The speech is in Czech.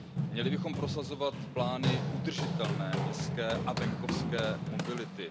Měli bychom prosazovat plány udržitelné městské a venkovské mobility.